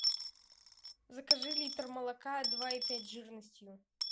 закажи литр молока два и пять жирностью